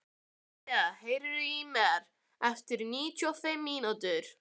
Amadea, heyrðu í mér eftir níutíu og fimm mínútur.